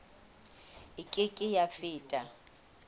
e ke ke ya feta